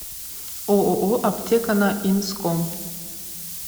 ооо аптека на инском